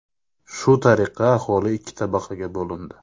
Shu tariqa aholi ikki tabaqaga bo‘lindi.